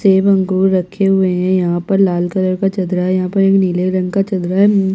सेब अंगूर रखे हुए है यहाँ पर लाल कलर का चदरा है यहाँ पे नीले रंग का चदरा है।